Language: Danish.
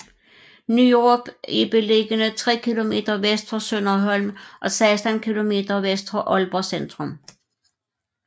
Nyrup er beliggende tre kilometer vest for Sønderholm og 16 kilometer vest for Aalborg centrum